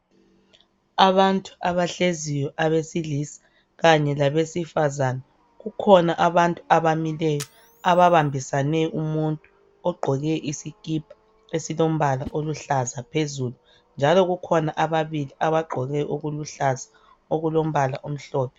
Abantu abahleziyo abesilisa kanye labesifazane kukhona abantu abamileyo aba bambisane umuntu ogqoke isikipa esilombala oluhlaza phezulu njalo kukhona ababili abagqoke okuluhlaza okulombala omhlophe